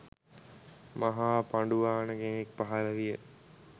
මහා පඬුවාන කෙනෙක් පහළ විය